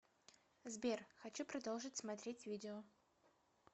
сбер хочу продолжить смотрет видео